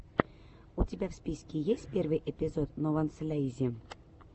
у тебя в списке есть первый эпизод нованслейзи